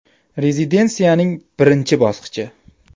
Rezidensiyaning birinchi bosqichi.